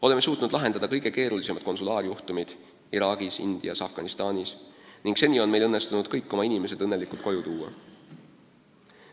Oleme suutnud lahendada kõige keerulisemad konsulaarjuhtumid Iraagis, Indias ja Afganistanis ning seni on meil õnnestunud kõik oma inimesed õnnelikult koju tuua.